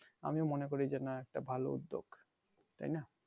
আমি মনে করি যে নাহ এইটা ভালো উদ্যোগ তাইনা